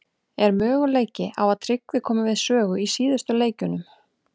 Er möguleiki á að Tryggvi komi við sögu í síðustu leikjunum?